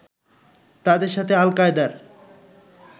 তাদের সাথে আল কায়দার